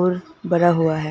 और बड़ा हुआ है।